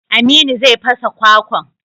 Aminu zai fasa kwakwan.